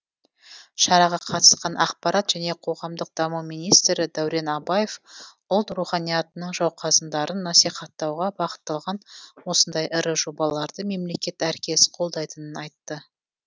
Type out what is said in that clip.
шараға қатысқан ақпарат және қоғамдық даму министрі дәурен абаев ұлт руханиятының жауқазындарын насихаттауға бағытталған осындай ірі жобаларды мемлекет әркез қолдайтынын айтты